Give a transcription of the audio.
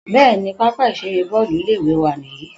Bẹ́ẹ̀ni, pápá ìṣeré Bọ́ọ́lù ilé ìwé wa nìyí.